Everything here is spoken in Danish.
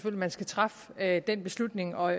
at man skal træffe den beslutning og